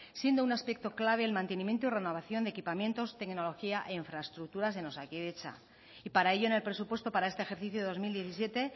siendo un aspecto clave el mantenimiento y renovación de equipamientos tecnología e infraestructuras en osakidetza y para ello en el presupuesto para este ejercicio dos mil diecisiete